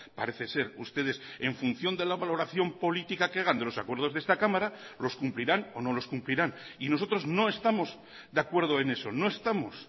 parece ser ustedes en función de la valoración política que hagan de los acuerdos de esta cámara los cumplirán o no los cumplirán y nosotros no estamos de acuerdo en eso no estamos